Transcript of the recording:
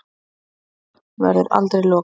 Þannig að þessu verður aldrei lokað